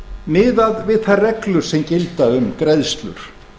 miðað við þær reglur sem gilda um greiðslur